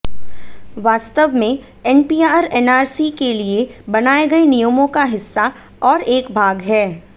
वास्तव में NPR NRC के लिए बनाए गए नियमों का हिस्सा और एक भाग है